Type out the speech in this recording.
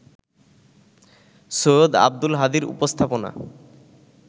সৈয়দ আব্দুল হাদীর উপস্থাপনা